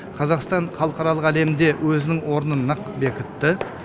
қазақстан халықаралық әлемде өзінің орнын нық бекітті